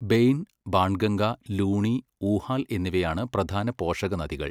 Bain, Banganga, Luni, Uhal എന്നിവയാണ് പ്രധാന പോഷകനദികൾ.